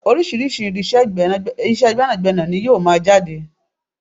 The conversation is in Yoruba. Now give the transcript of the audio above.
Orísirísi irinsé gbẹ́nàgbẹ́nà ní yóò máa jáde